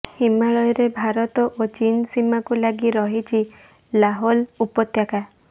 ହିମାଳୟରେ ଭାରତ ଓ ଚୀନ୍ ସୀମାକୁ ଲାଗି ରହିଛି ଲାହୋଲ ଉପତ୍ୟାକା